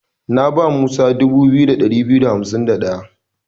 Na ba Musa 2251.